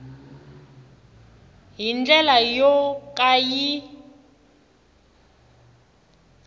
hi ndlela yo ka yi